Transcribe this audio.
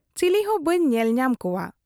ᱪᱤᱞᱤ ᱦᱚᱸ ᱵᱟᱹᱧ ᱧᱮᱞ ᱧᱟᱢ ᱠᱚᱣᱟ ᱾